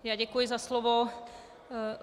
Já děkuji za slovo.